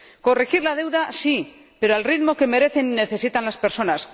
Corregir la deuda sí, pero al ritmo que merecen y necesitan las personas.